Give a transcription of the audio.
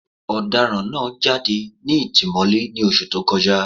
Ọ̀daràn náà jáde ní ìtìmọ́lé ní Oṣù tó kọjá